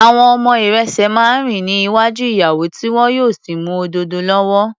Àwọn ọmọ ìrẹ̀sẹ̀ máa ń rìn ní iwájú ìyàwó tí wọn yóò sì mú òdòdó lọ́wọ́.